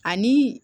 Ani